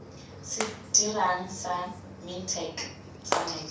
se dirang sa mintech tsamaiso